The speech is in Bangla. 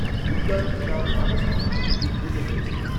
উদ্যানটির নাম মানস নদী থেকে উদ্ভূত হয়েছে।